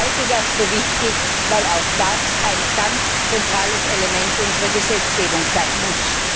Ich halte das für wichtig, weil auch das ein ganz zentrales Element unserer Gesetzgebung sein muss.